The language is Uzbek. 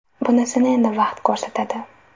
Bunisini endi vaqt ko‘rsatadi.